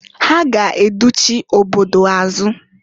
Ha ga educhi obodo azụ.